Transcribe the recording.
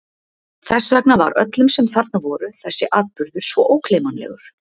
Þess vegna var öllum, sem þarna voru, þessi atburður svo ógleymanlegur.